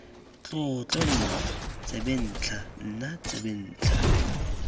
tlotlo nna tsebentlha nna tsebentlha